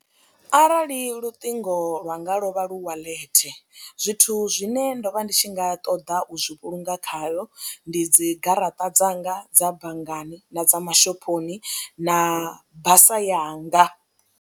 Arali luṱingo lwanga lwo vha lu walet zwithu zwine ndo vha ndi tshi nga ṱoḓa u zwi vhulunga khayo ndi dzi garaṱa dzanga dza banngani na dza mashophoni na basa yanga.